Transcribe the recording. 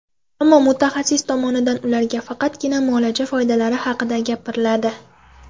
Ammo mutaxassis tomonidan ularga faqatgina muolaja foydalari haqida gapiriladi.